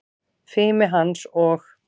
Fimi hans og